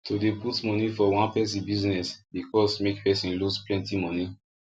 too dey put money for one person business dey cause make person loose plenty money